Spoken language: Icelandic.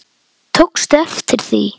Tókstu eftir því?